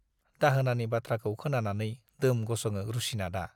दाहोनानि बाथ्राखौ खोनानानै दोम गसङो रुसिनाथआ।